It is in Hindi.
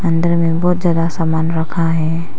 अंदर में बहोत ज्यादा सामान रखा है।